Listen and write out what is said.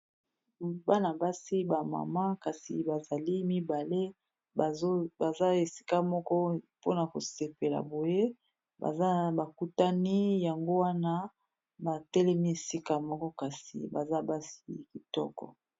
bana-basi bamama kasi bazali mibale baza esika moko mpona kosepela boye baza bakutani yango wana batelemi esika moko kasi baza basi kitoko